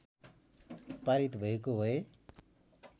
पारित भएको भए